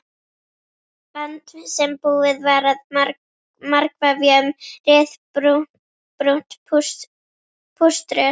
band sem búið var að margvefja um ryðbrúnt púströr.